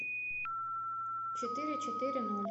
четыре четыре ноль